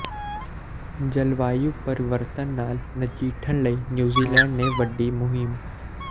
ਜਲਵਾਯੂ ਪਰਿਵਰਤਨ ਨਾਲ ਨਜਿੱਠਣ ਲਈ ਨਿਊਜ਼ੀਲੈਂਡ ਨੇ ਵਿੱਢੀ ਮੁਹਿੰਮ